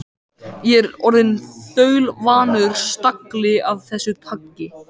Ég er orðinn þaulvanur stagli af þessu tagi.